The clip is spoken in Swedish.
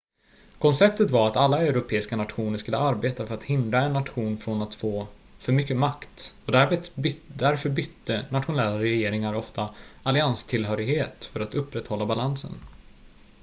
konceptet var att alla europeiska nationer skulle arbeta för att hindra en nation från att få för mycket makt och därför bytte nationella regeringar ofta allianstillhörighet för att upprätthålla balansen